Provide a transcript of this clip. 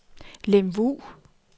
Lemvug